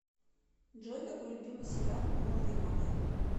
джой какой любимый сериал у алымовой